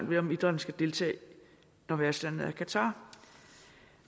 ved om idrætten skal deltage når værtslandet er qatar